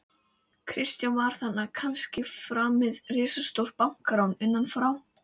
Kristján: Var þarna kannski framið risastórt bankarán, innanfrá?